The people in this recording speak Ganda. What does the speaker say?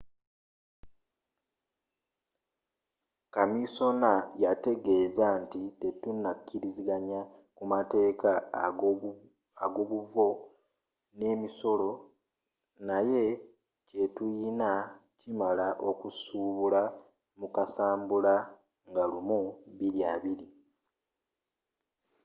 kaminsona yategezeza nti tetunakiriziganya kumateeka agobuvo nemisolo, naye kyetuyina kimala okusuubula mu kasambula 1 2020